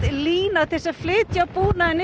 lína til að flytja búnaðinn